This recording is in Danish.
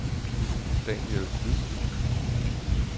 Daniel Hvid